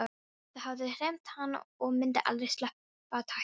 Það hafði hremmt hann og myndi aldrei sleppa takinu.